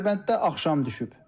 Dərbənddə axşam düşüb.